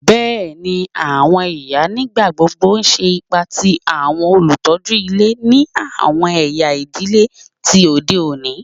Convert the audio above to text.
Bẹẹni, awọn iya nigbagbogbo ṣe ipa ti awọn olutọju ile ni awọn ẹya idile ti ode oni